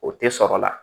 O tɛ sɔrɔ la